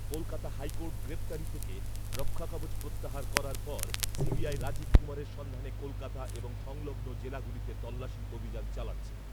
Kolkata high court গ্রেফতারি থেকে রক্ষাকবচ প্রত্যাহার করার পর সিবিআই রাজীব কুমারের সন্ধানে কলকাতা এবং সংলগ্ন জেলাগুলিতে তল্লাশি অভিযান চালাচ্ছে।